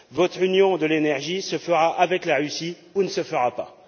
Votre Union de l'énergie se fera avec la Russie ou ne se fera pas!